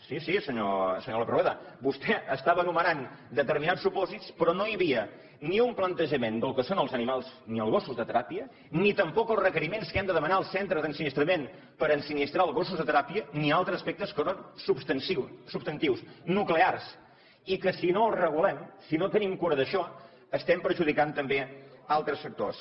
sí sí senyor lópez rueda vostè estava enumerant determinats supòsits però no hi havia ni un plantejament del que són els animals ni els gossos de teràpia ni tampoc els requeriments que hem de demanar als centres d’ensinistrament per ensinistrar els gossos de teràpia ni altres aspectes que són substantius nuclears i que si no els regulem si no tenim cura d’això estem perjudicant també altres sectors